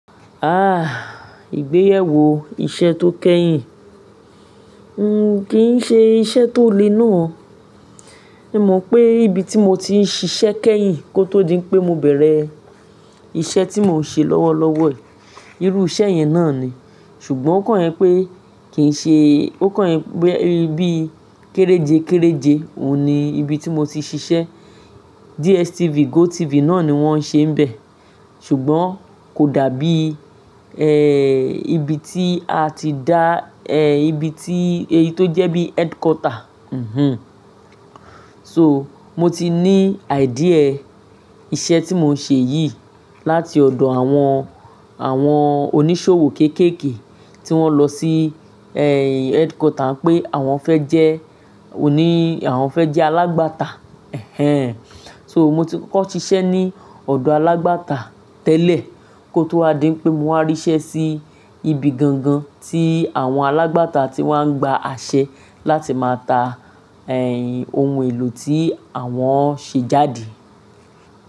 Ah! Ìgbéyàwó iṣẹ́ tó kẹ́yìn. N ò kí ń ṣe iṣẹ́ tó le náà. Se mo pé ibi tí mo ti ń ṣiṣẹ́ kẹ́yìn kó tó di pé mo bẹ̀rẹ̀ iṣẹ́ tí mò ń ṣe lọ́wọ́lọ́wọ́ yìí, irú iṣẹ́ yẹn náà ni. Ṣùgbọ́n ó kàn ẹ pé kìí ṣe, ó kàn ẹ pé bí kéréje kéréje òun ni ibi tí mo ti ń ṣiṣẹ́. DSTV, GoTV náà ni wón ń ṣe bẹ̀. Ṣùgbọ́n kò dàbí, ibi tí a ti dá, ibi tí èyí tó jẹ́ bí headquarter, So, mo ti ní idea iṣẹ́ tí mò ń ṣe yìí láti ọ̀dọ̀ àwọn, àwọn oníṣòwò kéékèèké tí wón lọ sí, headquarter pé àwọn fẹ́ jẹ́ òní, àwọn fẹ́ jẹ́ alágbàtà, ẹhẹ́n. So, mo ti kọ́kọ́ ṣiṣẹ́ ní ọ̀dọ̀ alágbàtà tẹ́lẹ̀ kó tó wá di pé mo wá ríṣẹ́ sí ibi gangan tí àwọn alágbàtà ti wá ń gba àṣẹ láti máa ta, ohun èlò tí àwọn ṣé jáde.